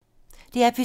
DR P2